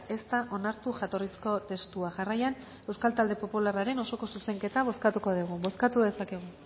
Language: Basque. ez da onartu jatorrizko testua jarraian euskal talde popularraren osoko zuzenketa bozkatuko dugu bozkatu dezakegu